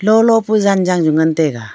lolo pu zanjang ju ngantaiga.